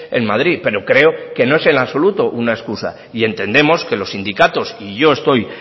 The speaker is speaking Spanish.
en madrid pero creo que no es en absoluto una excusa y entendemos que los sindicatos y yo estoy